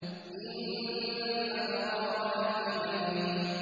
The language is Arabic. إِنَّ الْأَبْرَارَ لَفِي نَعِيمٍ